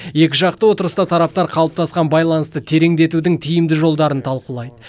екіжақты отырыста тараптар қалыптасқан байланысты тереңдетудің тиімді жолдарын талқылайды